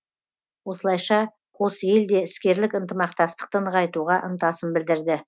осылайша қос ел де іскерлік ынтымақтастықты нығайтуға ынтасын білдірді